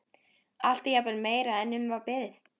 Allt er jafnvel meira en um var beðið.